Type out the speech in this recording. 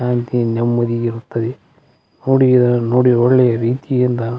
ಶಾಂತಿ ನೆಮ್ಮದಿ ಬರ್ತದೆ ನೋಡಿ ನೋಡಿ ಒಳ್ಳೆಯ ರೀತಿಯಿಂದ --